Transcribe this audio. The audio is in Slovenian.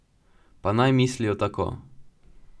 Pa naj mislijo tako.